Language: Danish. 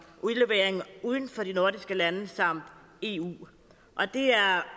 udlevering uden for de nordiske lande samt eu det er